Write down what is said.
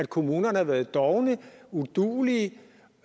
kommunerne været dovne og uduelige